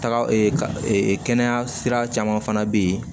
Taga kɛnɛya sira caman fana bɛ yen